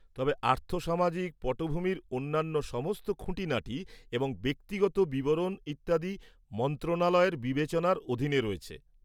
তবে আর্থসামাজিক পটভূমির অন্যান্য সমস্ত খুঁটিনাটি এবং ব্যক্তিগত বিবরণ ইত্যাদি মন্ত্রণালয়ের বিবেচনার অধীনে রয়েছে।